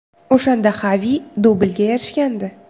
O‘shanda Xavi dublga erishgandi.